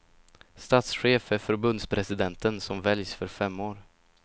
Statschef är förbundspresidenten, som väljs för fem år.